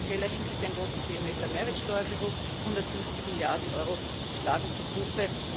In finanzieller Hinsicht ein großes Thema ist der Mehrwertsteuerbetrug, 150 Milliarden Euro schlagen zu Buche.